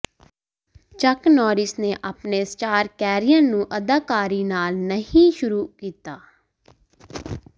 ਚੱਕ ਨੌਰਿਸ ਨੇ ਆਪਣੇ ਸਟਾਰ ਕੈਰੀਅਰ ਨੂੰ ਅਦਾਕਾਰੀ ਨਾਲ ਨਹੀਂ ਸ਼ੁਰੂ ਕੀਤਾ